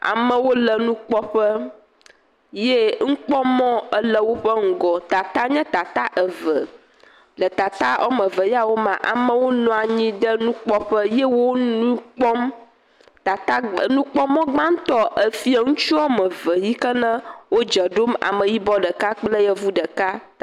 Amewo le nukpɔƒe, ye nukpɔmɔ le woƒe ŋgɔ, tata nye tata eve. Le tata woame eve yawo mea, amewo nɔ anyi ɖe nukpɔƒe ye wo nu kpɔm, tata, nukpɔmɔ gbãtɔ, ŋutsu woame ve yike ne wodze ɖom, ameyibɔ ɖeka, yevu ɖeka.